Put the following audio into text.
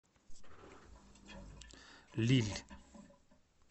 лилль